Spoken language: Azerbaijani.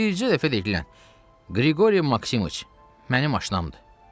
Bircə dəfə deyilən Qriqori Maksimıç, mənim aşinamdır.